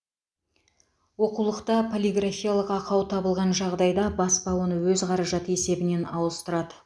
оқулықта полиграфиялық ақау табылған жағдайда баспа оны өз қаражаты есебінен ауыстырады